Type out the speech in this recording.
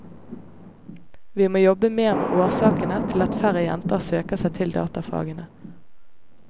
Vi må jobbe mer med årsakene til at færre jenter søker seg til datafagene.